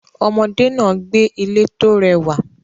Ọmọdé náà gbé ilé tó rẹwà